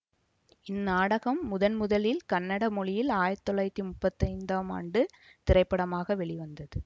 இந்நாடகம் முதன் முதலில் கன்னட மொழியில் ஆயிரத்தி தொள்ளாயிரத்தி முப்பத்தி ஐந்தாம் ஆணடு திரைப்படமாக வெளிவந்தது